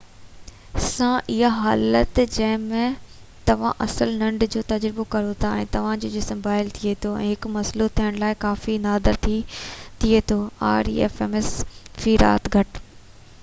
في رات گهٽ rems سان اها حالت جنهن ۾ توهان اصل ننڊ جو تجربو ڪريو ٿا ۽ توهان جو جسم بحال ٿئي ٿو هڪ مسئلو ٿيڻ لاءِ ڪافي نادر ٿئي ٿو